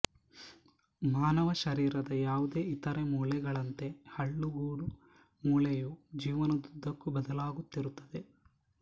ಮಾನವ ಶರೀರದ ಯಾವುದೇ ಇತರೆ ಮೂಳೆಗಳಂತೆ ಹಲ್ಲುಗೂಡು ಮೂಳೆಯು ಜೀವನದುದ್ದಕ್ಕೂ ಬದಲಾಗುತ್ತಿರುತ್ತದೆ